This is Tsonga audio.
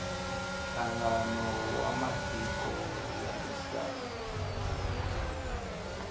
nhlangano wa matiko ya misava